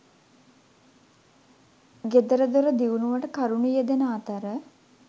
ගෙදරදොර දියුණුවට කරුණු යෙදෙන අතර